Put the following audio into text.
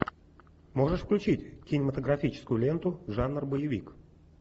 можешь включить кинематографическую ленту жанр боевик